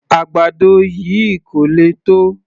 Àgbàdo yìí kò le tó